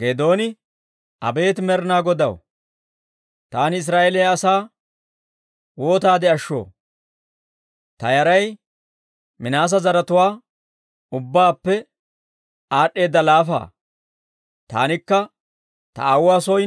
Geedooni, «Abeet Med'inaa Godaw, taani Israa'eeliyaa asaa waataade ashshoo? Ta yaray Minaase zaratuwaa ubbaappe aad'd'eeda laafa; taanikka ta aawuwaa soo